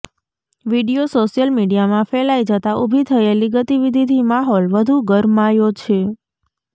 video social મિડીયામાં ફેલાઇ જતા ઉભી થયેલી ગતિવિધિથી માહોલ વધુ ગરમાયો છે